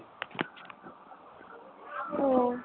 ও